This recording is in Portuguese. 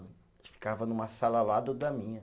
ficava numa sala ao lado da minha.